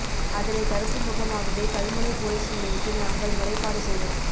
அதனை தடுக்கும் முகமாகவே கல்முனை பொலிஸ் நிலையத்தில் நாங்கள் முறைப்பாடு செய்தோம்